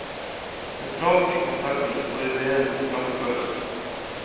Sentralt i konsertene står idéen om fremførelsen.